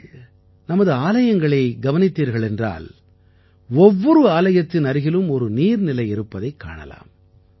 நீங்கள் நமது ஆலயங்களை கவனித்தால் ஒவ்வொரு ஆலயத்தின் அருகிலும் ஒரு நீர்நிலை இருப்பதைக் காணலாம்